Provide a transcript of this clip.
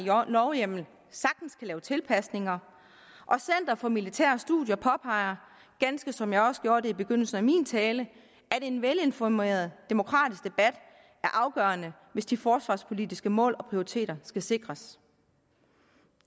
lovhjemmel sagtens kan lave tilpasninger og center for militære studier påpeger ganske som jeg også gjorde det i begyndelsen af min tale at en velinformeret demokratisk debat er afgørende hvis de forsvarspolitiske mål og prioriteter skal sikres